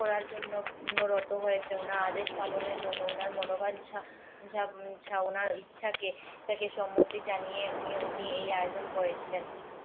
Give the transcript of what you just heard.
করার জন্য নত হয়েছে উনার আদেশ পালনের জন্য উনার মনোবাঞ্ছনা চায়নার ইচ্ছা কে ইচ্ছাকে সম্মতি জানিয়ে উনি এই আয়োজন করেছিলেন